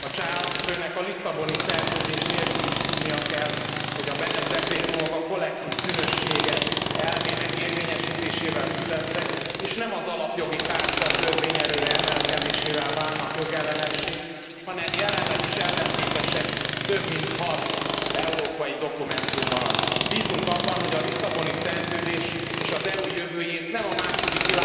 A cseh államfőnek a Lisszaboni Szerződés nélkül is tudnia kell, hogy a Benes dekrétumok a kollektív bűnösség elvének érvényesítésével születtek és nem az Alapjogi Charta törvényerőre emelkedésével válnak jogellenessé, hanem jelenleg is ellentétesek több mint hat európai dokumentummal. Bízunk abban, hogy a Lisszaboni Szerződés és az EU jövőjét nem a II.